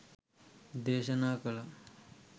දේශනා කළා.